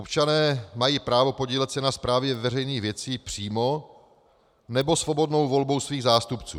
Občané mají právo podílet se na správě veřejných věcí přímo nebo svobodnou volbou svých zástupců.